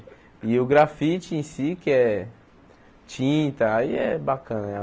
E o grafite em si, que é tinta, aí é bacana, né?